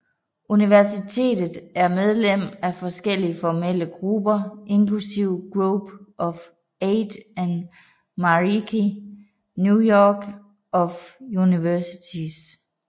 Universitetet er medlem af forskellige formelle grupper inklusive Group of Eight og Matariki Network of Universities